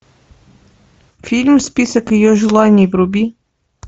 фильм список ее желаний вруби